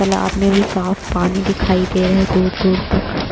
तालाब में भी साफ़ पानी दिखाई दे रहै है दूर -दूर तक --